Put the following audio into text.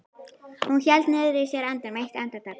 Hún hélt niðri í sér andanum eitt andartak.